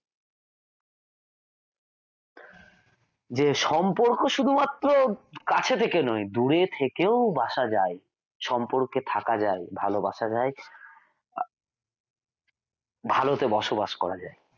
যে সম্পর্ক শুধুমাত্র কাছে থেকে নয় দূরে থেকেও বাসা যায় সম্পর্কে থাকা যায় ভালোবাসা যায় ভালোতে বসবাস করা যায়।